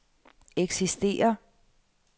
eksisterer